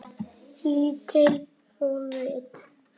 Lítil forrit